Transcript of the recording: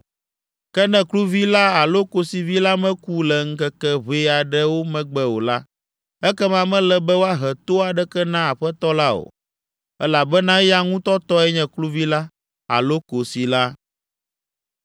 Ke ne kluvi la alo kosivi la meku le ŋkeke ʋɛ aɖewo megbe o la, ekema mele be woahe to aɖeke na aƒetɔ la o, elabena eya ŋutɔ tɔe nye kluvi la alo kosi la.